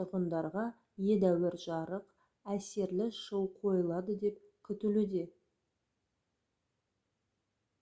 тұрғындарға едәуір жарық әсерлі шоу қойылады деп күтілуде